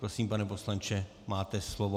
Prosím, pane poslanče, máte slovo.